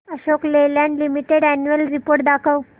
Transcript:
Ashok Leyland limited annual report दाखव